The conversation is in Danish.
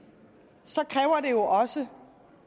så kræver det jo også